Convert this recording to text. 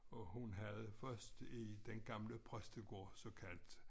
Og hun havde først i den gamle præstegård såkaldt